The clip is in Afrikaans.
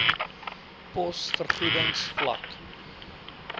pos vergoedings vlak